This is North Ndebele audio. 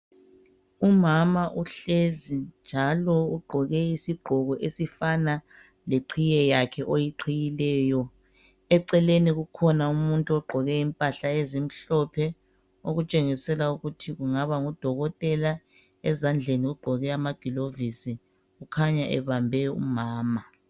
Umama uhlezi njalo ugqoke isigqoko esifana leqhiye yakhe oyiqhiyileyo eceleni kukhona umuntu ogqoke impahla ezimhlophe okutshengisela ukuthi kungaba ngudokotela ezandleni ugqoke amagilovisi kukhanya ebambe umama.